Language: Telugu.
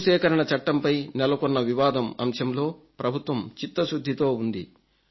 భూసేకరణ చట్టంపై నెలకొన్న వివాదం అంశంలో ప్రభుత్వం చిత్తశుద్ధితో ఉంది